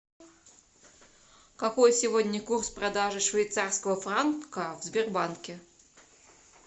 какой сегодня курс продажи швейцарского франка в сбербанке